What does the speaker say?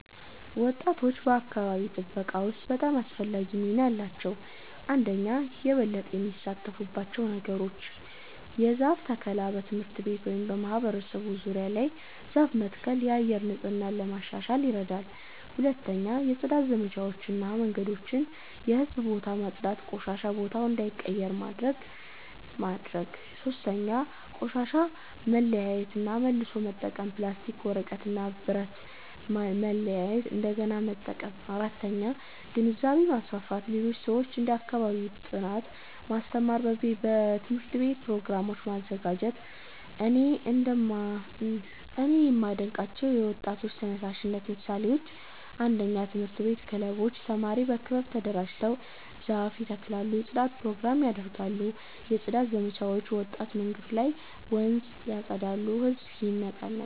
ወጣቶች በአካባቢ ጥበቃ ውስጥ በጣም አስፈላጊ ሚና አላቸው። 1)የበለጠ የሚሳተፉባቸው ነገሮች ? 1. የዛፍ ተከላ በትምህርት ቤት ወይም በማህበረሰብ ዙሪያ ዛፍ መትከል የአየር ንጽህና ለማሻሻል ይረዳል 2. የጽዳት ዘመቻዎች መንገዶችን እና የህዝብ ቦታዎችን ማጽዳት ቆሻሻ በቦታው እንዳይቀር ማድረግ ማድረግ 3. ቆሻሻ መለያየት እና መልሶ መጠቀም ፕላስቲክ፣ ወረቀት እና ብረት ማለያየት እንደገና መጠቀም 4. ግንዛቤ ማስፋፋት ሌሎች ሰዎችን ስለ አካባቢ ጥበቃ ማስተማር በትምህርት ቤት ፕሮግራሞች ማዘጋጀት 2)እኔ የማዴንቃቸው የወጣቶች ተነሳሽነት ምሳሌዎች 1 የትምህርት ቤት ክበቦች ተማሪዎች በክበብ ተደራጅተው ዛፍ ይተክላሉ የጽዳት ፕሮግራሞች ያደርጋሉ 2 የጽዳት ዘመቻዎች ወጣቶች መንገድ ወይም ወንዝ ያፀዳሉ ህዝብን ይነቃቃሉ